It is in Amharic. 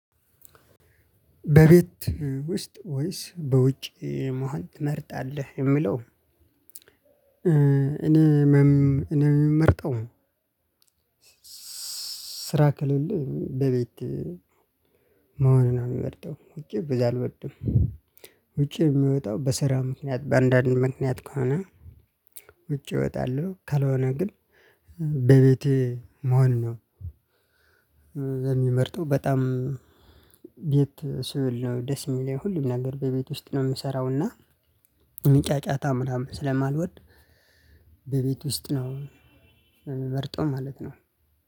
በቤት ውስጥ ወይስ በውጭ መሆን ትመርጣለህ የሚለው? እኔ እኔ የምመርጠው ስራ ከሌለ በቤት መሆኑን ነው የምመርጠው ውጪ በዛ አልመርጥም። ውጪ የምወጣው በስራ ምክንያት በአንዳንድ ምክንያት ከሆነ ውጪ እወጣለሁ። ካልሆነ ግን በቤቴ መሆን ነው የምመርጠው። በጣም የት ስለሆነ ደስ የሚለኝ ሁሉም ነገር በቤት ውስጥ ነው የምሰራውና ጫጫታ ምናምን ስለማልወድ በቤት ውስጥ ነው የምመርጠው ማለት ነው።